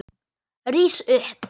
Rís upp.